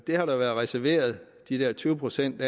har været reserveret de der tyve procent